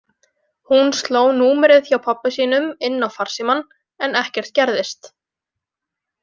Hún sló númerið hjá pabba sínum inn á farsímann en ekkert gerðist.